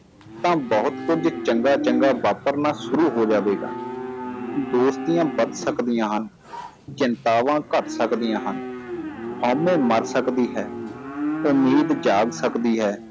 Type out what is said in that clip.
ਤਾਂ ਬਹੁਤ ਕੁੱਝ ਚੰਗਾ ਚੰਗਾ ਵਾਪਰਨਾ ਸ਼ੁਰੂ ਹੋ ਜਾਵੇਗਾ ਦੋਸਤੀਆਂ ਵੱਧ ਸਕਦੀਆਂ ਹਨ ਚਿੰਤਾਵਾਂ ਘੱਟ ਸਕਦੀਆਂ ਹਨ ਹਉਮੈ ਮਰ ਸਕਦੀ ਹੈ ਉਮੀਦ ਜਾਗ ਸਕਦੀ ਹੈ